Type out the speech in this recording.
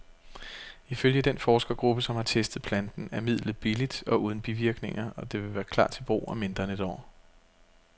Ifølge den forskergruppe, som har testet planten, er midlet billigt og uden bivirkninger, og det vil klar til brug om mindre end et år.